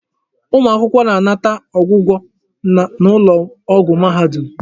Ụmụ akwụkwọ na-anata ọgwụgwọ n'ụlọ ọgwụ mahadum.